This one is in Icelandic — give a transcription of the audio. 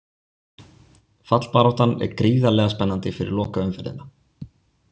Fallbaráttan er gríðarlega spennandi fyrir lokaumferðina.